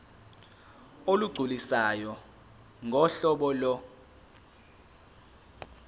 olugculisayo ngohlobo lo